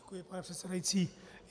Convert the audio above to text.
Děkuji, pane předsedající.